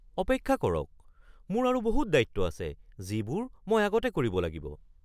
অপেক্ষা কৰক, মোৰ আৰু বহুত দায়িত্ব আছে যিবোৰ মই আগতে কৰিব লাগিব।